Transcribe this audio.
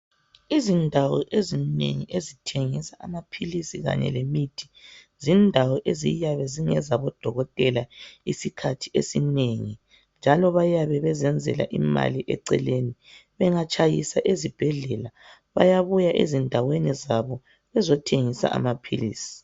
Izindawo ezinengi ezithengisa amaphilisi kanye lemithi, zindawo eziyabe zingezabodokotela isikhathi esinengi, njalo bayabe bezenzela imali eceleni. Bengatshayisa ezibhedlela bayabuya endaweni zabo bezothengisa amaphilisi.